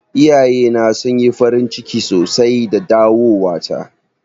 Iyaye na sun yi farin ciki sosai da dawowa ta.